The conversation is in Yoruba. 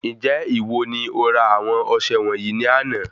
Njẹ ìwo ni ora àwọn ọsẹ wọnyii ní àna?